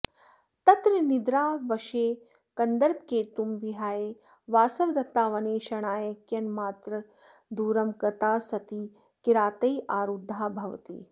तत्र निद्रावशे कन्दर्पकेतुं विहाय वासवदत्ता वनेक्षणाय कियन्मात्रदूरं गता सती किरातैरारुद्धा भवति